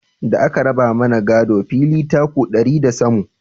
Da a ka raba mana gado, fili taku ɗari na samu